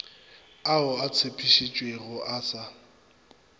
ao a tshepišitšwego a sa